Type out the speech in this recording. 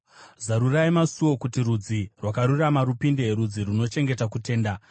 Zarurai masuo kuti rudzi rwakarurama rupinde, rudzi runochengeta kutenda.